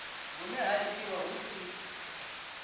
hune ha itiwa hu si